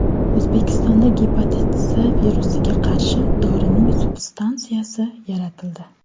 O‘zbekistonda gepatit C virusiga qarshi dorining substansiyasi yaratildi.